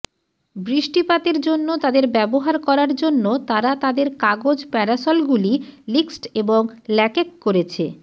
বৃষ্টিপাতের জন্য তাদের ব্যবহার করার জন্য তারা তাদের কাগজ প্যারাসলগুলি লিক্সড এবং ল্যাকেক করেছে